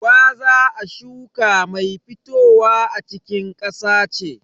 Gwaza a shuka mai fitowa a cikin ƙasa ce.